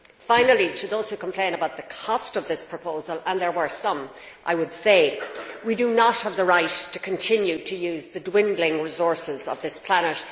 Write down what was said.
Finally, to those who complain about the cost of this proposal and there were some I would say that we do not have the right to continue to use the dwindling resources of this planet.